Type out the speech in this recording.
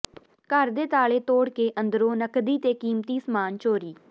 ਘਰ ਦੇ ਤਾਲੇ ਤੋੜ ਕੇ ਅੰਦਰੋਂ ਨਕਦੀ ਤੇ ਕੀਮਤੀ ਸਾਮਾਨ ਚੋਰੀ